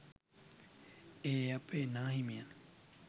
ඒ අපේ නා හිමියන්.